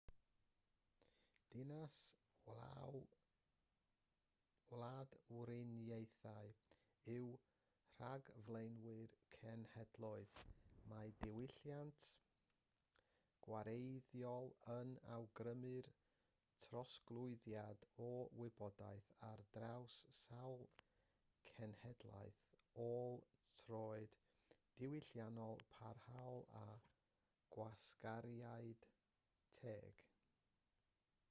dinas-wladwriaethau yw rhagflaenwyr cenhedloedd mae diwylliant gwareiddiol yn awgrymu'r trosglwyddiad o wybodaeth ar draws sawl cenhedlaeth ôl-troed diwylliannol parhaol a gwasgariad teg